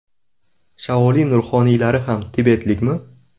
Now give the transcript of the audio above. Shaolin ruhoniylari ham tibetlikmi?